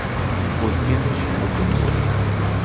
O‘tgan ish o‘tib bo‘ldi .